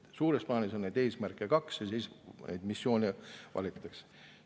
Suures plaanis on neid eesmärke kaks ja neid missioone valitakse.